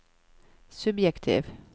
subjektiv